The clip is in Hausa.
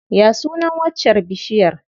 Ya sunan waccar bishiyar?